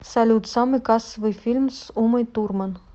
салют самый кассовый фильм с умой турман